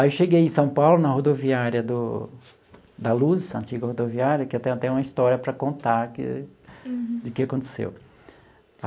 Aí eu cheguei em São Paulo na rodoviária do da Luz, essa antiga rodoviária, que eu tenho até uma história para contar que de que aconteceu.